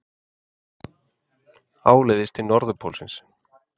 Áleiðis til Norðurpólsins.